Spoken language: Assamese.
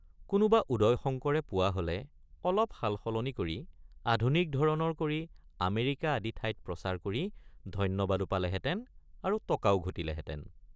কোনোব৷ উদয়শঙ্কৰে পোৱা হলে অলপ সালসলনি কৰি আধুনিক ধৰণৰ কৰি আমেৰিকা আদি ঠাইত প্ৰচাৰ কৰি ধন্যবাদো পালেহেঁতেন আৰু টকাও ঘটিলে হেঁতেন ।